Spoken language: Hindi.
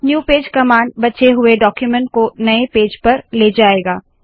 न्यू पेज कमांड बचे हुए डाक्यूमेन्ट को नए पेज पर ले जायेगा